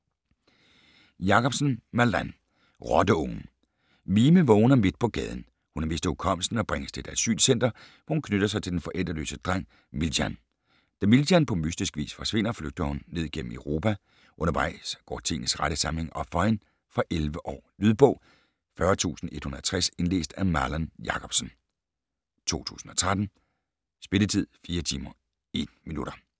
Jacobsen, Malan: Rotteungen Mime vågner midt på gaden. Hun har mistet hukommelsen og bringes til et asylcenter, hvor hun knytter sig til den forældreløse dreng Miljan. Da Miljan, på mystisk vis forsvinder, flygter hun ned gennem Europa. Undervejs går tingenes rette sammenhæng op for hende. Fra 11 år. Lydbog 40160 Indlæst af Malan Jacobsen, 2013. Spilletid: 4 timer, 1 minutter.